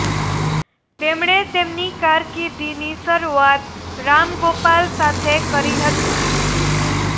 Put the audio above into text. તેમણે તેમની કારકિર્દીની શરૂઆત રામ ગોપાલ સાથે કરી હતી